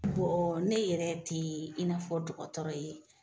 Bɔɔ ne yɛrɛ tee i n'a fɔ dɔgɔtɔrɔ ye